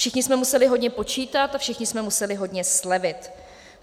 Všichni jsme museli hodně počítat a všichni jsme museli hodně slevit.